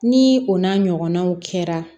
Ni o n'a ɲɔgɔnnaw kɛra